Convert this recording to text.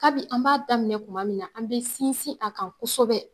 Kabin an b'a daminɛ kuma min na an be sinsin a kan kosɛbɛ